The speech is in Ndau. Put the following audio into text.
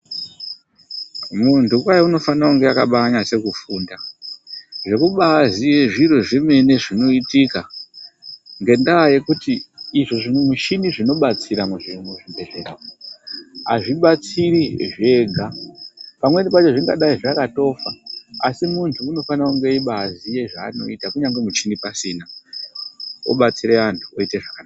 Muntu kwai unofane kunga akabanyase kufunda. Zvekubaziye zviro zvemene zvinoitika, ngendaa yekuti izvo zvimuchini zvinobatsira muzvibhedhlera azvibatsiri zvega. Pamweni pacho zvingadai zvakatofa asi muntu unofane kunge aibaziye zvanoita kunyange michini pasina obatsire anhu oite zvakanaka.